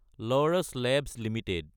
Laurus Labs Ltd